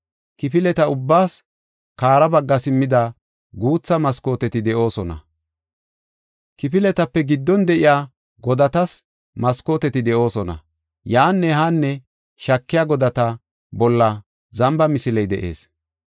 Kifileta ubbaas kare bagga simmida guutha maskooteti de7oosona; kifiletape giddon de7iya godatas maskooteti de7oosona. Yaanne haanne shaakiya godata bolla zamba misiley de7ees.